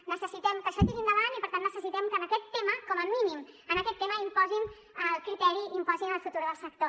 necessitem que això tiri endavant i per tant necessitem que en aquest tema com a mínim en aquest tema imposin el criteri imposin el futur del sector